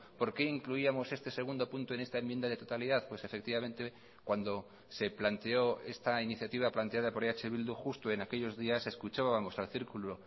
por qué incluíamos este segundo punto en esta enmienda de totalidad pues efectivamente cuando se planteó esta iniciativa planteada por eh bildu justo en aquellos días escuchábamos al círculo